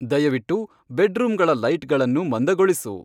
ದಯವಿಟ್ಟು ಬೆಡ್ರೂಮಗಳ ಲೈಟಗಳನ್ನು ಮಂದಗೊಳಿಸು.